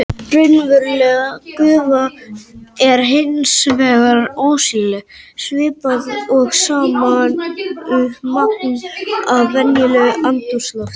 Raunveruleg gufa er hins vegar ósýnileg svipað og sama magn af venjulegu andrúmslofti.